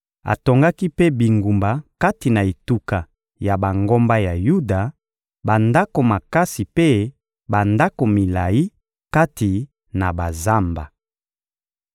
Atongaki mpe bingumba kati na etuka ya bangomba ya Yuda, bandako makasi mpe bandako milayi kati na bazamba.